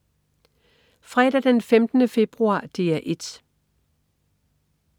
Fredag den 15. februar - DR 1: